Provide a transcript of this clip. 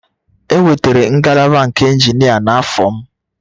E wetara ngalaba nke injinia n'afọ m